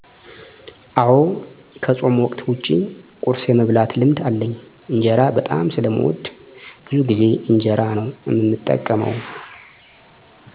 አወ ከፆም ወቅት ዉጭ ቁርስ የመብላት ልምድ አለኝ። እንጀራ በጣም ስለምወድ ብዙ ጊዜ እንጀራ ነው እምጠቀመው።